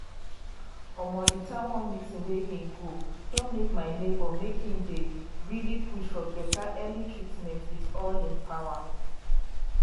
um di town hall meeting wey hin go don make my neighbor make hin dey um push for beta early treatment with all hin power.